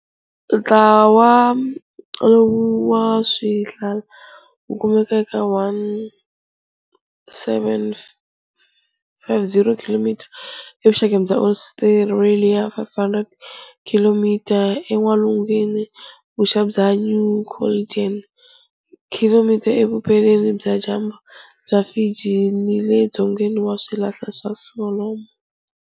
Ntlawa lowu wa swihlala wu kumeka eka 1 750 km evuxakeni bya Australia, 500 km en'walungu-vuxa bya New Caledonia. km, evupela-dyambu bya Fiji, ni le dzongeni wa Swihlala swa Solomon.